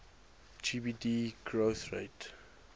gdp growth rate